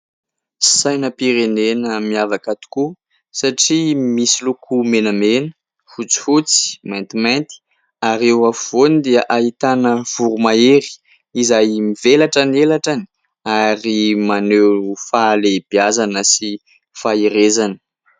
Sainam-pirenena miavaka tokoa satria misy loko menamena, fotsifotsy, maintimainty ary eo afovoany dia ahitana voromahery izay mivelatra ny elatrany ary maneho fahalehibiazana sy faherezana.